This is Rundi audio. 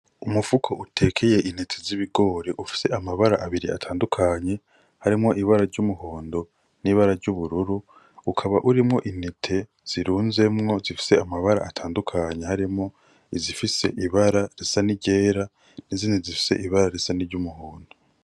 Umufuko utekeye intete z'ibigori ufise amabara abiri atandukanye harimwo ibara ry'umuhondo n'ibara ry'ubururu, ukaba urimwo intete zirunzemwo zifise amabara atandukanye harimwo izifise ibara risa n'iryera, izindi zifise ibara risa n'iryumuhondo.